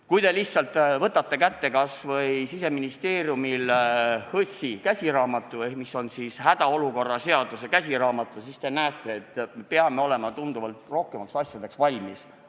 Kui te võtate kätte kas või Siseministeeriumi HOS-i käsiraamatu, mis on hädaolukorra seaduse käsiraamat, siis te näete, et me peame oleme tunduvalt rohkemateks asjadeks valmis.